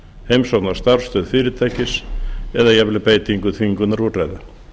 heimsókn á starfsstöð fyrirtækis eða jafnvel beitingu þvingunarúrræða